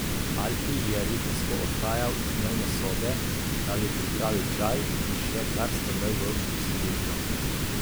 Alfi je ritensko odhajal iz dnevne sobe, da bi pripravil čaj, in še kar strmel v vsiljivko.